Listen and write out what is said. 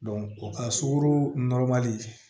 o ka sukaro